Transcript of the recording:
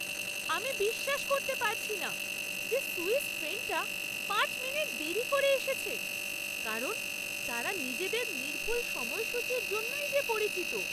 আমি বিশ্বাস করতে পারছি না যে সুইস ট্রেনটা পাঁচ মিনিট দেরী করে এসেছে কারণ তারা নিজেদের নির্ভুল সময়সূচির জন্যই যে পরিচিত!